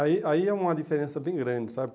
Aí aí é uma diferença bem grande, sabe?